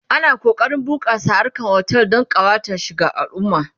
ana kokarin a bunƙasa harkan otel Dan kawata shi ga alumma